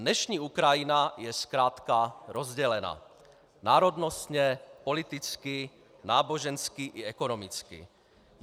Dnešní Ukrajina je zkrátka rozdělena - národnostně, politicky, nábožensky i ekonomicky.